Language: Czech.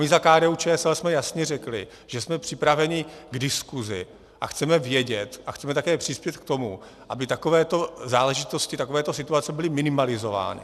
My za KDU-ČSL jsme jasně řekli, že jsme připraveni k diskusi a chceme vědět a chceme také přispět k tomu, aby takovéto záležitosti, takovéto situace byly minimalizovány.